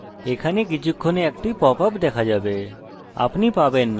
এটি খুব ভালো হবে যে এক মিনিটে এখানে একটি pop up দেখা দেবে